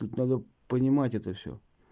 тут надо понимать это всё